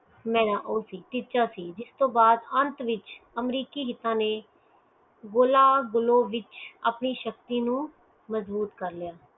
ਮਈ ਉਹ ਸਿੱਖਿਆ ਸੀ ਜਿੰਦੇ ਬਾਅਦ ਅੰਤ ਵਿਚ ਅਮਰੀਕੀ ਹਿਸਾ ਨੈ ਗੁਲਾ ਗੁਲੂ ਵਿਚ ਆਪਣੀ ਸ਼ਕਤੀ ਨੂੰ ਮਜ਼ਬੂਤ ਕੀਤਾ